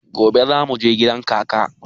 Gobe za mu je gidan kaka.